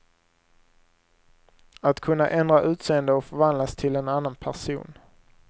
Att kunna ändra utseende och förvandlas till en annan person.